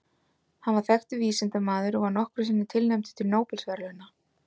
Hann var þekktur vísindamaður og var nokkrum sinnum tilnefndur til Nóbelsverðlauna.